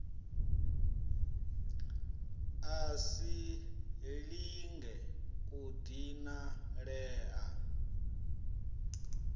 a si lenge u dinalea